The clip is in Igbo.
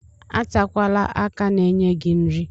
Atakwala aka na-enye gị nri.